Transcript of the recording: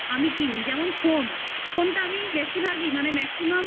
কিনি যেমন phone phone টা আমি বেশিরভাগই মানে maximum